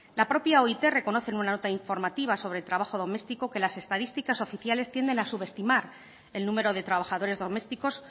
la propia oit reconoce en una nota informativa sobre trabajo doméstico que las estadísticas oficiales tienden a subestimar el número de trabajadores domésticos